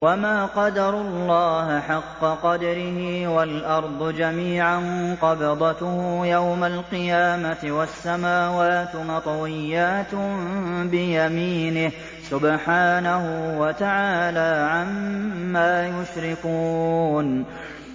وَمَا قَدَرُوا اللَّهَ حَقَّ قَدْرِهِ وَالْأَرْضُ جَمِيعًا قَبْضَتُهُ يَوْمَ الْقِيَامَةِ وَالسَّمَاوَاتُ مَطْوِيَّاتٌ بِيَمِينِهِ ۚ سُبْحَانَهُ وَتَعَالَىٰ عَمَّا يُشْرِكُونَ